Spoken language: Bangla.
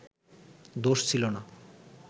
দোষ ছিলো না